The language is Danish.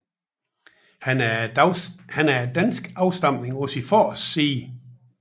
Han er af dansk afstamning på sin fars side